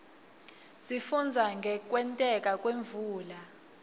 sifundza ngekwenteka kwemvula